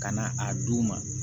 Ka na a d'u ma